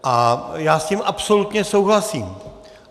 A já s tím absolutně souhlasím.